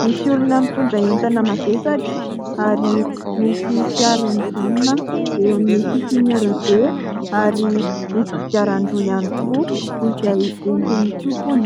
misy olona mitondra entana mavesatra ary misy fiara mijanona eo amin'ny sisin'ny arabe ary misy kodiarandroa ihany koa izay entin'ny tompony.